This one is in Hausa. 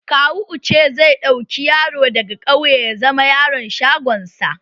Kawo Uche zai ɗauki yaro daga ƙauye ya zama yaron shagon sa